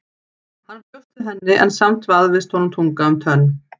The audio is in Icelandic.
Hann bjóst við henni en samt vafðist honum tunga um tönn.